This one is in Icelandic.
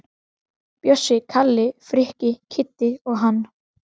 Bjössi, Kalli, Frikki, Kiddi og hann.